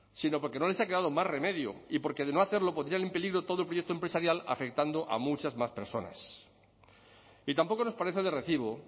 sino porque no les ha quedado más remedio y porque de no hacerlo pondrían en peligro todo proyecto empresarial afectando a muchas más personas y tampoco nos parece de recibo